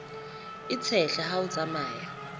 e tshehla ha o tsamaya